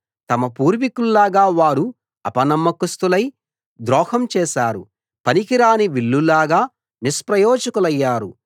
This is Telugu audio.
తమ పూర్వికుల్లాగా వారు అపనమ్మకస్తులై ద్రోహం చేశారు పనికిరాని విల్లులాగా నిష్ప్రయోజకులయ్యారు